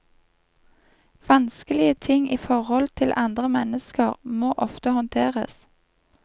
Vanskelige ting i forholdet til andre mennesker må ofte håndteres.